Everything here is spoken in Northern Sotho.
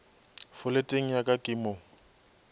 foleteng ya ka ke mo